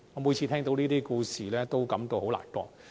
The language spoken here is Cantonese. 每次聽到這些故事，我都感到非常難過。